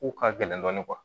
Ko ka gɛlɛn dɔɔnin